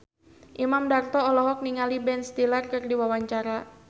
Imam Darto olohok ningali Ben Stiller keur diwawancara